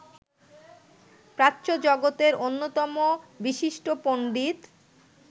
প্রাচ্যজগতের অন্যতম বিশিষ্ট পণ্ডিত